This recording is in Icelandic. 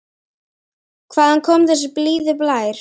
Hvaðan kom þessi blíði blær?